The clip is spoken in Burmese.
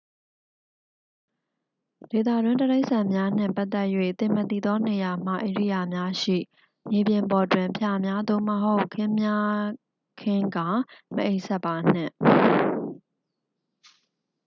ဒေသတွင်းတိရစ္ဆာန်များနှင့်ပတ်သက်၍ သင်မသိသောနေရာမှ ဧရိယာများရှိ မြေပြင်ပေါ်တွင် ဖျာများ သို့မဟုတ် ခင်းများခင်းကာ မအိပ်စက်ပါနှင့်